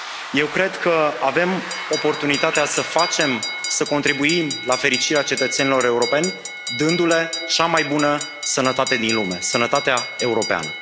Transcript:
Eu cred că avem oportunitatea să facem, să contribuim la fericirea cetățenilor europeni dându le cea mai bună sănătate din lume sănătatea europeană.